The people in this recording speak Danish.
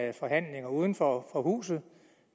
af forhandlinger uden for huset